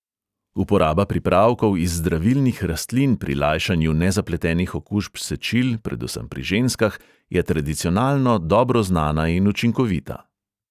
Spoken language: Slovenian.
Uporaba pripravkov iz zdravilnih rastlin pri lajšanju nezapletenih okužb sečil predvsem pri ženskah je tradicionalno dobro znana in učinkovita.